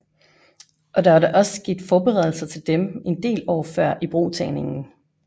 Og der var da også sket forberedelser til dem en del år før ibrugtagningen